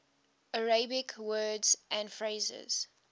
arabic words and phrases